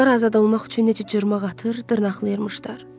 Onlar azad olmaq üçün necə cırmaqlayır, dırnaqlayırmışlar!